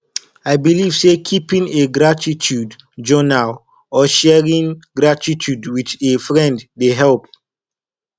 i believe say keeping a gratitude journal or sharing gratitude with a friend dey help